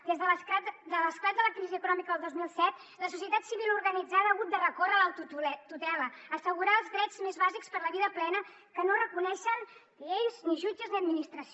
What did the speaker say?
des de l’esclat de la crisi econòmica el dos mil set la societat civil organitzada ha hagut de recórrer a la tutela a assegurar els drets més bàsics per a la vida plena que no reconeixen lleis ni jutges ni administració